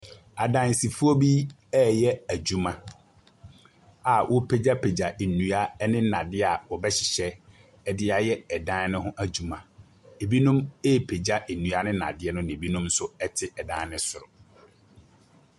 Adansifoɔ bi ɛɛyɛ adwuma a ɔrepegyapegya nnua ɛne nnadeɛ ɔbɛhyehyɛ ɛde ayɛ ɛdan no ho adwuma. Ebinom ɛrepegya nnua ne nnadeɛ no ɛna ebinom nso ɛte ɛdan no soro.